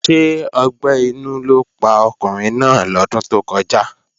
Ṣé ọgbẹ́ inú ló pa ọkùnrin náà lọ́dún tó kọjá?